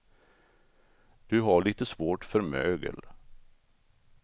Du har lite svårt för mögel.